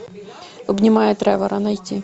обнимая тревора найти